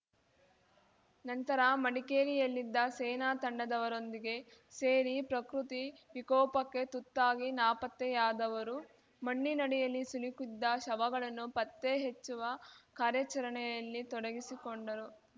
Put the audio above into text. ನಂತರ ಮಡಿಕೇರಿಯಲ್ಲಿದ್ದ ಸೇನಾ ತಂಡದವರೊಂದಿಗೆ ಸೇರಿ ಪ್ರಕೃತಿ ವಿಕೋಪಕ್ಕೆ ತುತ್ತಾಗಿ ನಾಪತ್ತೆಯಾದವರು ಮಣ್ಣಿನಡಿಯಲ್ಲಿ ಸಿಲುಕಿದ್ದ ಶವಗಳನ್ನು ಪತ್ತೆಹೆಚ್ಚುವ ಕಾರ್ಯಾಚರಣೆಯಲ್ಲಿ ತೊಡಗಿಸಿಕೊಂಡರು